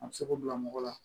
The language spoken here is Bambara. A bɛ se k'o bila mɔgɔ la